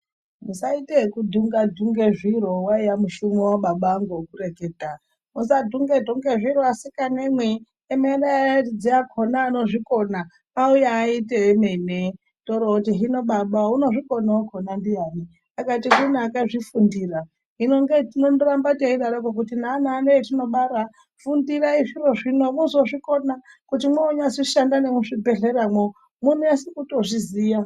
Musaite ekudhunge dhunge zviro waiya mushumo wababa angu wekureketa musadhungedhunge zviro asikanemwi emerai aridzi akona anozvikona auye aite emene, toorooti hino Baba unozvikona wakona ndiyani ,akati kune akazvifundira hino ngeitinondoramba teidaroko kuti neana ano etinobara fundirai zviro zvino muzozvikona kuti mwozonyashanda nemuzvibhehlermwo mwonase kutozviziya.